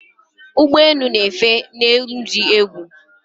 ụgbọ enu na efe ni enu di egwu